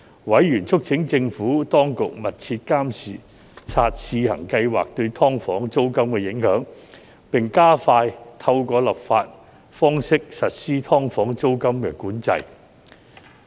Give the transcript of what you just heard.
委員促請政府當局密切監察試行計劃對"劏房"租金的影響，並加快透過立法方式實施"劏房"租金管制。